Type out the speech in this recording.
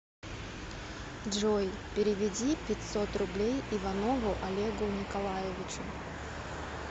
джой переведи пятьсот рублей иванову олегу николаевичу